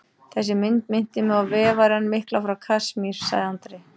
Þessi mynd minnti mig á Vefarann mikla frá Kasmír, sagði Andri.